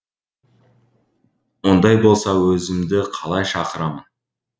ондай болса өзімді қалай шақырамын